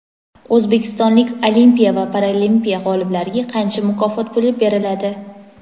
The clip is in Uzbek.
O‘zbekistonlik Olimpiya va Paralimpiya g‘oliblariga qancha mukofot puli beriladi?.